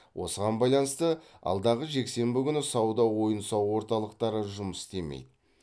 осыған байланысты алдағы жексенбі күні сауда ойын сауық орталықтары жұмыс істемейді